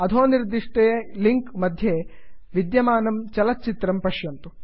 अधो निर्दिष्टे लिंक् मध्ये विद्यमानं चलच्चित्रं पश्यन्तु